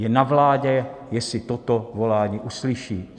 Je na vládě, jestli toto volání uslyší.